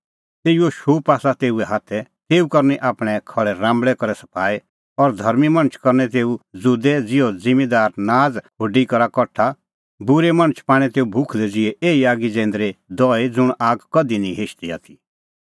तेऊओ शूप आसा तेऊए हाथै तेऊ करनी आपणैं खहल़े राम्बल़ै करै सफाई और धर्मीं मणछ करनै तेऊ ज़ुदै ज़िहअ ज़िम्मींदार नाज़ खुडी करा कठा बूरै मणछ पाणै तेऊ भुखलै ज़िहै एही आगी जैंदरी दहई ज़ुंण आग कधि निं हिशदी आथी